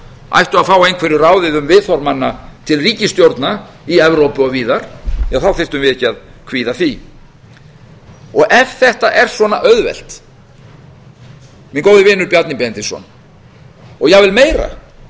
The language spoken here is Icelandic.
ættu að fá einhverju ráðið um viðhorf manna til ríkisstjórna í evrópu og víðar ja þá þyrftum við ekki að kvíða því ef þetta er svona auðvelt minn góði vinur bjarni benediktsson og jafnvel meira að það sé bara